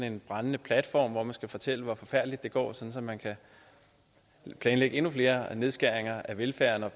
en brændende platform hvor man skal fortælle hvor forfærdeligt det går sådan at man kan planlægge endnu flere nedskæringer af velfærden